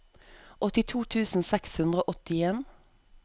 åttito tusen seks hundre og åttien